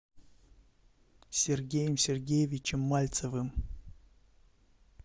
сергеем сергеевичем мальцевым